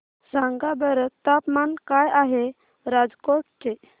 सांगा बरं तापमान काय आहे राजकोट चे